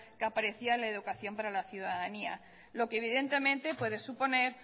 que aparecía en la educación para la ciudadanía lo que evidentemente puede suponer